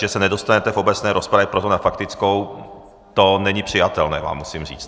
Že se nedostanete v obecné rozpravě, proto na faktickou, to není přijatelné, vám musím říct.